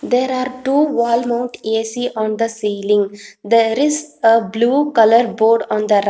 There are two wall mount ac on the ceiling there is a blue colour board on the rI --